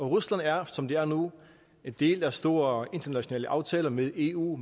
rusland er som det er nu en del af store internationale aftaler med eu